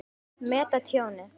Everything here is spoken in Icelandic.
Meta tjónið.